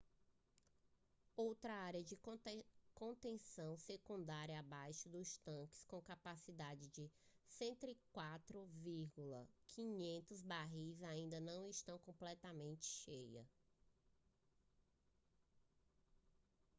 outra área de contenção secundária abaixo dos tanques com capacidade de 104.500 barris ainda não estava completamente cheia